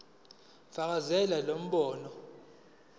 fakazela lo mbono